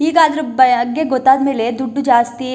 ಈಗ ಅದ್ರು ಬಗ್ಗೆ ಗೊತ್ತಾದ್ಮೇಲೆ ದುಡ್ಡು ಜಾಸ್ತಿ--